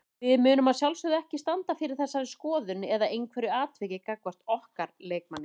Við munum að sjálfsögðu ekki standa fyrir þessari skoðun eða einhverju atviki gagnvart okkar leikmanni.